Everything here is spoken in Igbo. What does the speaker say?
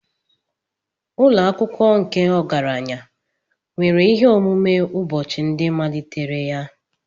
Ụlọ akwụkwọ nke ọgaranya nwere ihe omume ụbọchị ndị malitere ya.